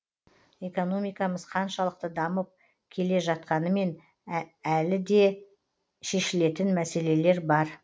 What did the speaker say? экономикамыз қаншалықты дамып келатқанмен де әлде де шешәлетін мәселелер бар